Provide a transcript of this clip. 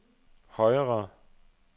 højere